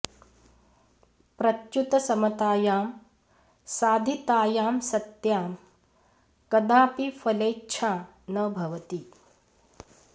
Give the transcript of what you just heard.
प्रत्युत समतायां साधितायां सत्यां कदापि फलेच्छा न भवति